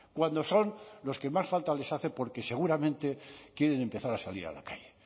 cuando son los que más falta les hace porque seguramente quieren empezar a salir a la calle